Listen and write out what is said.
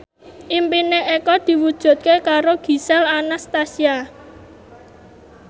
impine Eko diwujudke karo Gisel Anastasia